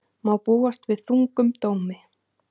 Má búast við þungum dómi